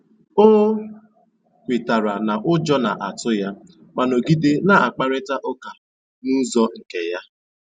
O kwètàra na ụ́jọ́ na-àtụ́ ya mà nọ̀gìdè na-àkpárị̀ta ụ́ka n'ụ́zọ́ nkè ya.